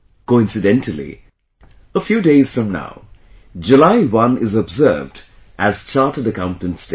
Coincidentally, a few days from now, July 1 is observed as chartered accountants day